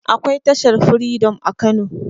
akwai tashar freedom a kano